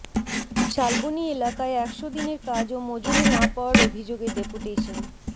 শালবনী এলাকায় একশো দিনের কাজ ও মজুরি না পাওয়ার অভিযোগে ডেপুটেশন